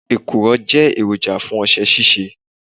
Èkùrọ́ jẹ́ èròjà fún ọṣẹ ṣíṣe.